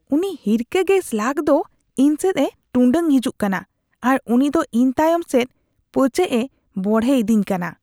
ᱩᱱᱤ ᱦᱤᱨᱠᱷᱟᱹ ᱜᱮ ᱥᱞᱟᱜ ᱫᱚ ᱤᱧ ᱥᱮᱫ ᱮ ᱴᱩᱸᱰᱟᱹᱝ ᱦᱤᱡᱩᱜ ᱠᱟᱱᱟ ᱟᱨ ᱩᱱᱤᱫᱚ ᱤᱧ ᱛᱟᱭᱚᱢ ᱥᱮᱡᱽ ᱯᱟᱹᱪᱟᱹᱜ ᱮ ᱵᱚᱲᱮᱭᱤᱫᱤᱧ ᱠᱟᱱᱟ ᱾